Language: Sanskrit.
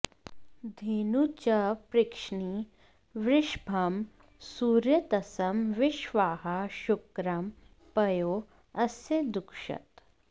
धे॒नुं च॒ पृश्निं॑ वृष॒भं सु॒रेत॑सं वि॒श्वाहा॑ शु॒क्रं पयो॑ अस्य दुक्षत